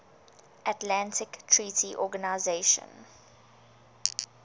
atlantic treaty organisation